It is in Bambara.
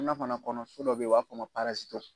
Ina fana kɔnɔ fɛn dɔ be yen, o b'a f'o ma ko